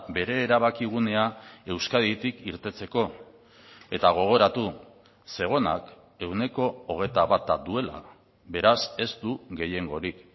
bere erabakigunea euskaditik irteteko eta gogoratu zegonak ehuneko hogeita bata duela beraz ez du gehiengorik